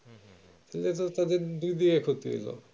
level সবের দুই দুই এক হতে এলো